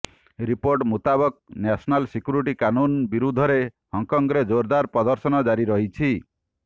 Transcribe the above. report ମୁତାବକ national security କାନୁନ ବିରୋଧରେ ହଂକଂରେ ଜୋରଦାର ପ୍ରଦର୍ଶନ ଜାରି ରହିଛି